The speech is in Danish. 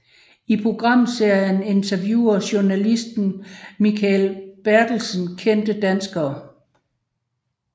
I programserien interviewer journalisten Mikael Bertelsen kendte danskere